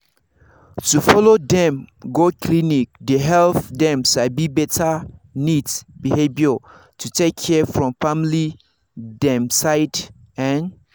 to follow dem go clinic dey help dem sabi better neat behavior to take care from family dem side ehn